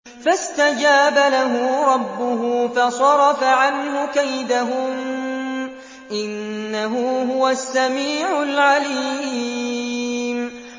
فَاسْتَجَابَ لَهُ رَبُّهُ فَصَرَفَ عَنْهُ كَيْدَهُنَّ ۚ إِنَّهُ هُوَ السَّمِيعُ الْعَلِيمُ